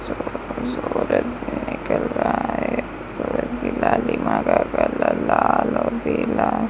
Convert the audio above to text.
सुबह सूरज निकल रहा है लाल और पिला --